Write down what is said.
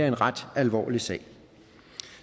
en ret alvorlig sag